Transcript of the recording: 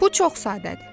Bu çox sadədir.